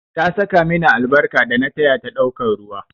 Ta saka mini albarka dana taya ta ɗaukan ruwa